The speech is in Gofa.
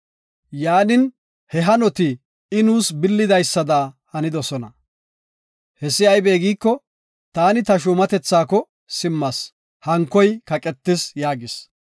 Yaanin, he hanoti I nuus billidaysada hanidosona. Hessi aybe giiko, taani ta shuumatethaako simmas, hankoy kaqetis” yaagis.